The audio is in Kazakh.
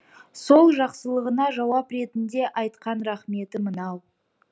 сол жақсылығына жауап ретінде айтқан рақметі мынау